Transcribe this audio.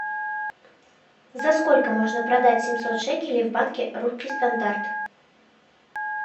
за сколько можно продать семьсот шекелей в банке русский стандарт